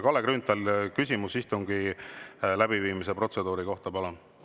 Kalle Grünthal, küsimus istungi läbiviimise protseduuri kohta, palun!